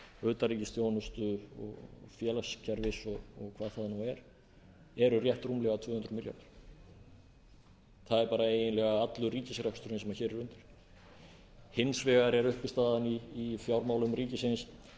utanríkisþjónustu félagskerfis og hvað það nú er eru rétt rúmlega tvö hundruð milljarðar það er eiginlega allur ríkisreksturinn sem hér er undir hins vegar er uppistaðan í fjármálum ríkisins